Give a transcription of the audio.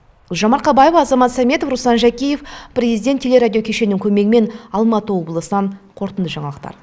гүлжан марқабаева азамат сәметов руслан жәкеев президент телерадиокешенінің көмегімен алматы облысынан қорытынды жаңалықтар